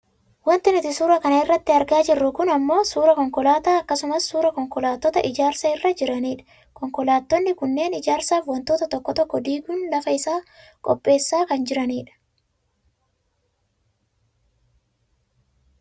Wanti nuti suura kana irratti argaa jirru kun ammoo suuraa konkolaataa akkasumas suuraa konkolaattota ijaarsa irra jiraniidha. Konkolaattonni kunneen ijaarsaaf wantoota tokko tokko diguun lafa isaa qopheessaa kan jirani dha.